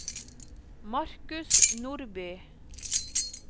Marcus Nordby